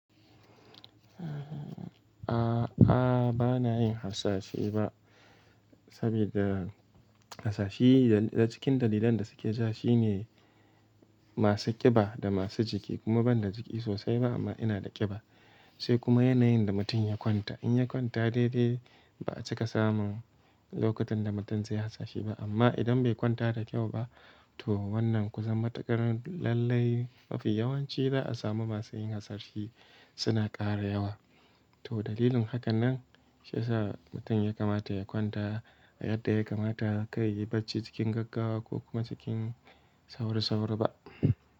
A'a, bana yin hasashe ba. Saboda, hasashi da cikin dalilan da suke ja shi ne, masu kiba da masu jiki kuma ban da jiki sosai ba amma ina da kiba. Sai kuma yanayin da mutum ya kwanta, in ya kwanta daidai ba a cika samun lokutan da mutum zai yi hasashi ba, amma idan bai kwanta da kyau ba to wannan kusan matukar lallai mafi yawanci za a samu masu yin hasashi suna ƙara yawa. To dalilin hakan nan, shi ya sa mutum ya kamata ya kwanta a yadda ya kamata, kai ya yi bacci cikin gaggawa ko kuma cikin saurasaura ba.